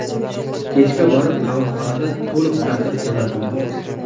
Kechga borib qamoqxonada to‘liq tartib o‘rnatildi.